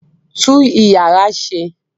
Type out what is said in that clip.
Tú ìyàrá ṣe!